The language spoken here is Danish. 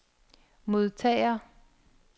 modtager